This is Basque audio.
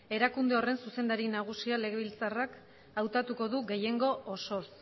erakunde horren zuzendari nagusia legebiltzarrak hautatuko du gehiengo osoz